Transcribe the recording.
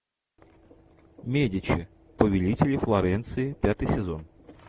медичи повелители флоренции пятый сезон